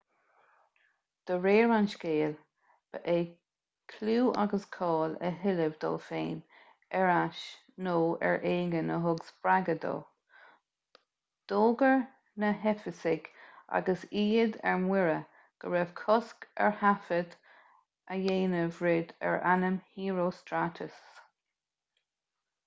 de réir an scéil ba é clú agus cáil a thuilleamh dó féin ar ais nó ar éigean a thug spreagadh dó d'fhógair na heifeasaigh agus iad ar mire go raibh cosc ar thaifead a dhéanamh riamh ar ainm herostratus